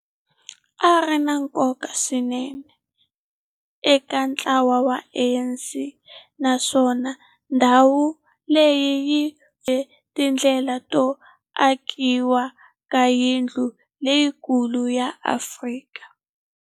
A ri na nkoka swinene eka ntlawa wa ANC, naswona ndhawu leyi hi tindlela to akiwa ka yindlu leyikulu ya Afrika.